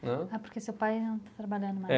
Né. Ah, porque seu pai não está trabalhando mais. É